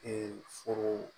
Ee furu